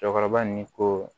Cɛkɔrɔba ni ko